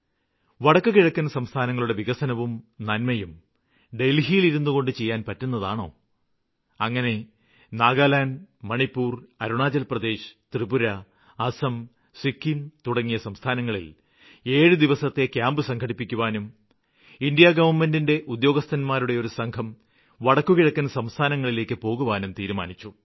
വടക്കുകിഴക്കന് സംസ്ഥാനങ്ങളുടെ വികസനവും നന്മയും ഡല്ഹിയില് ഇരുന്നുകൊണ്ട് ചെയ്യാന് പറ്റുന്നതാണോ അങ്ങനെ നാഗാലാന്ഡ് മണിപ്പൂര് അരുണാചല്പ്രദേശ് ത്രിപുര അസ്സം സിക്കിം തുടങ്ങിയ സംസ്ഥാനങ്ങളില് ഏഴു ദിവസത്തെ ക്യാമ്പ് സംഘടിപ്പിക്കുവാനും കേന്ദ്ര ഗവണ്മെന്റ് ഉദ്യോഗസ്ഥന്മാരുടെ ഒരു സംഘം വടക്കുകിഴക്കന് സംസ്ഥാനങ്ങളിലേക്ക് പോകുവാനും തീരുമാനിച്ചു